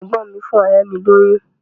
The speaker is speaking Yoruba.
Ẹ̀gbọ́n mi fún ọ̀rẹ́ mi lóyún.